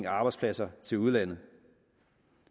arbejdspladser til udlandet